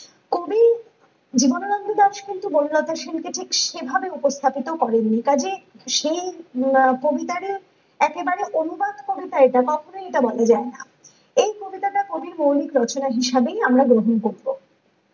কবি জীবনানন্দ দাশ কিন্তু বনলতা সেন কে ঠিক সেভাবে উপস্থাপিত করেননি কাজে সেই কবিতাজে একেবারে অনুগামী কবিতা এটা কখনেই এটা বলা যায়না এই কবিতাটা কবির মৌলিক রচনা হিসেবে আমরাই গ্রহণ করবো ।